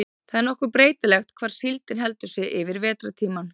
það er nokkuð breytilegt hvar síldin heldur sig yfir vetrartímann